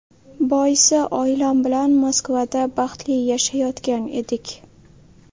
Boisi oilam bilan Moskvada baxtli yashayotgan edik.